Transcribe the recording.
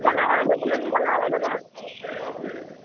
ଦାଦା ଦେଖିବିର କି ନ ଦାଦା ?